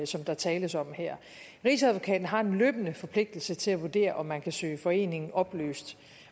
som der tales om her rigsadvokaten har en løbende forpligtelse til at vurdere om man kan søge foreningen opløst